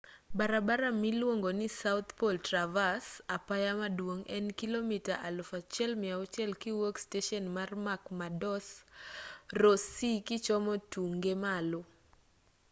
barabara miluongoni south pole traverse apaya maduong' en kilomita 1,600 kiwuok steshen man mcmurdo e ross sea kichomo tunge malo